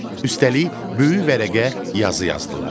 Üstəlik böyük vərəqə yazı yazdılar.